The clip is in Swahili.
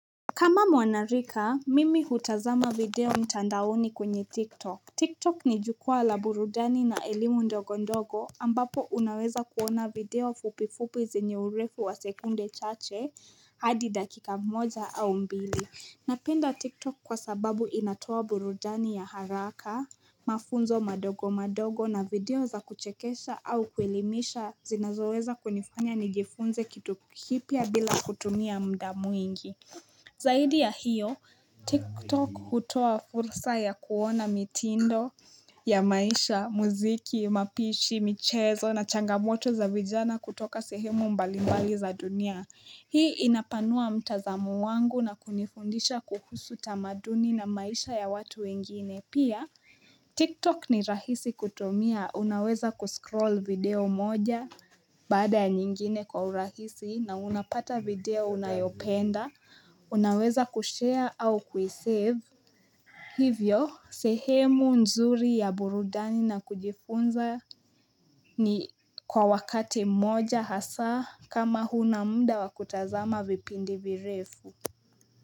Kama mwanarika, mimi hutazama video mtandaoni kwenye TikTok. TikTok ni jukwaa la burudani na elimu ndogo ndogo ambapo unaweza kuona video fupifupi zenye urefu wa sekunde chache hadi dakika mmoja au mbili. Napenda TikTok kwasababu inatoa burudani ya haraka, mafunzo madogo madogo na video za kuchekesha au kuelimisha zinazoweza kunifanya nijifunze kitu kipya bila kutumia mda mwingi. Zaidi ya hiyo, TikTok hutoa fursa ya kuona mitindo ya maisha, muziki, mapishi, michezo na changamoto za vijana kutoka sehemu mbalimbali za dunia. Hii inapanua mtazamu wangu na kunifundisha kuhusu tamaduni na maisha ya watu wengine. Pia tiktok ni rahisi kutumia unaweza ku scroll video moja baada ya nyingine kwa urahisi na unapata video unayopenda unaweza kushare au kui save Hivyo sehemu nzuri ya burudani na kujifunza ni kwa wakati mmoja hasaa kama huna mda wakutazama vipindi virefu.